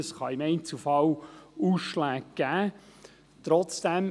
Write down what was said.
Es kann im Einzelfall Ausschläge geben.